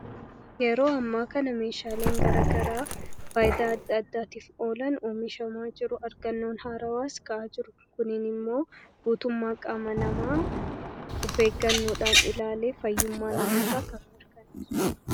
yeroo ammaa kana meeshaaleen garagaraa faayidaa addaaddaatiif oolan uumishamaa jiru argannoon haarawaas ka'a jiru kuniin immoo guutummaa qaama namaa ufeeggannoodhaan ilaalee fayyummaa namoota kana mirkaneessuudha